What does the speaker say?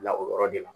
Bila o yɔrɔ de la